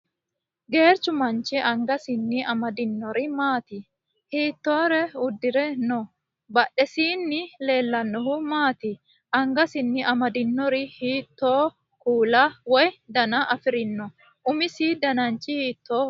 Geerchu manchi angasinni amadinori maati? Hiittoore uddire no? Badhesiinni leellannohu maati? Angasinni amadinori hiittoo kuula woy dana afirino? Umisi dananchi hiittooho?